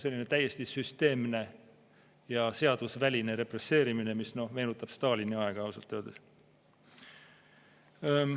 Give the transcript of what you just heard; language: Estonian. Selline täiesti süsteemne ja seadusväline represseerimine, mis meenutab Stalini aega ausalt öeldes.